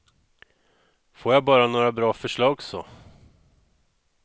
Får jag bara några bra förslag så.